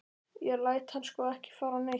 Ég læt hann sko ekki fara neitt.